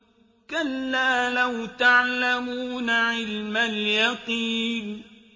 كَلَّا لَوْ تَعْلَمُونَ عِلْمَ الْيَقِينِ